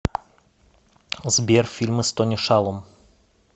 сбер фильмы с тони шалум